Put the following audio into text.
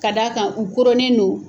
Ka d'a kan u koronnen don.